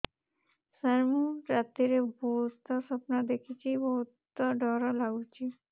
ସାର ମୁ ରାତିରେ ଭୁତ ସ୍ୱପ୍ନ ଦେଖୁଚି ବହୁତ ଡର ଲାଗୁଚି